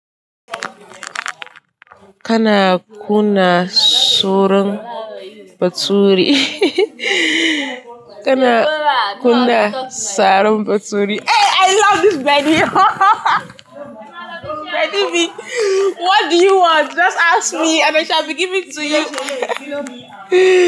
Kana kunna soron bature. Kana kuna sarin baturi. Eh, I love this lady. Lady V, what do you want? Just ask me and I shall be giving to you.